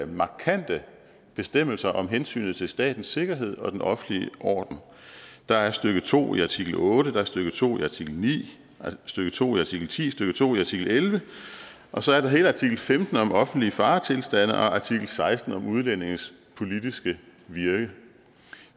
markante bestemmelser om hensynet til statens sikkerhed og den offentlige orden der er stykke to i artikel otte stykke to i artikel ni stykke to i artikel ti stykke to i artikel elleve og så er der hele artikel femten om offentlige faretilstande og artikel seksten om udlændinges politiske virke